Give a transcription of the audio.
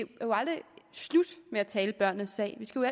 aldrig slut med at tale børnenes sag vi skal jo